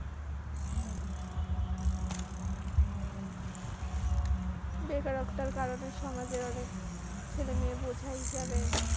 বেকারত্বের কারণে সমাজে অনেক ছেলেমেয়ে বোঝাই যাবে,